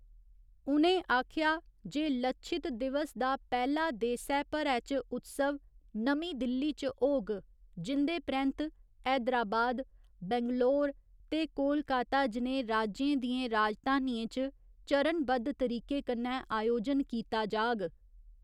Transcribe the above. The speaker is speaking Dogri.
उ'नें आखेआ जे 'लच्छित दिवस' दा पैह्‌ला देसै भरै च उत्सव नमीं दिल्ली च होग, जिं'दे परैंत्त हैदराबाद, बैंगलोर ते कोलकाता जनेहे राज्यें दियें राजधानियें च चरणबद्ध तरीके कन्नै आयोजन कीता जाग।